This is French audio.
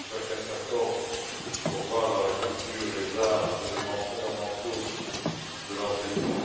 De fait, chacun s'accorde pour voir dans la culture et les arts des éléments fondamentaux de l'enseignement.